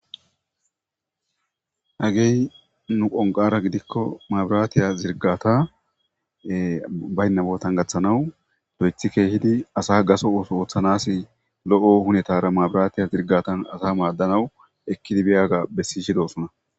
Hagey nu qonqara gidiko maburate zirigata bayna botta gathanaw loyithi kehidi hunetara maburate zirgatan asa madana w ekidi biyaga besishe dosona